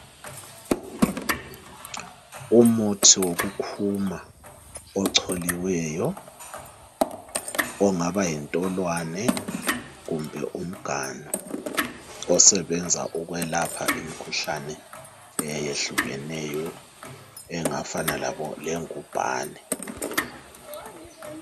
Umuthi wokukhuma echoliweyo ongaba yintolwane kumbe umganu osebenza ukwelapha imikhuhlane eyehlukeneyo engafana lengubhane.